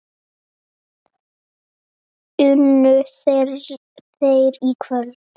Unnu þeir í kvöld?